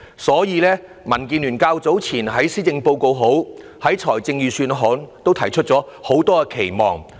所以，民建聯較早前在施政報告及預算案諮詢時，提出很多期望。